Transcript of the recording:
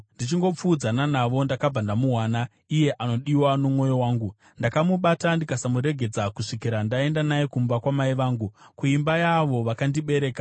Ndichingopfuudzana navo ndakabva ndamuwana, iye anodiwa nomwoyo wangu. Ndakamubata ndikasamuregedza kusvikira ndaenda naye kumba kwamai vangu, kuimba yaavo vakandibereka.